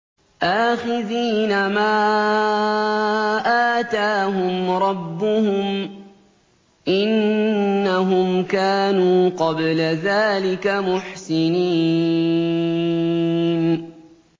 آخِذِينَ مَا آتَاهُمْ رَبُّهُمْ ۚ إِنَّهُمْ كَانُوا قَبْلَ ذَٰلِكَ مُحْسِنِينَ